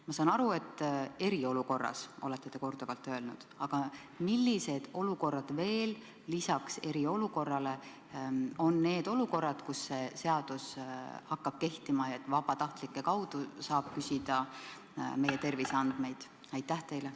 Ma saan aru, et eriolukorras – nii olete te korduvalt öelnud –, aga millised olukorrad veel peale eriolukorra on need olukorrad, kus see seadus hakkab kehtima ja vabatahtlike kaudu saab meie terviseandmeid küsida?